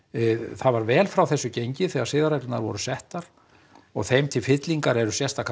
það var vel frá þessu gengið þegar siðareglurnar voru settar og þeim til fyllingar eru sérstakar